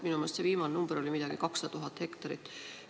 Minu meelest oli see viimane number 200 000 hektarit.